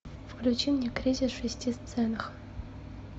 включи мне кризис в шести сценах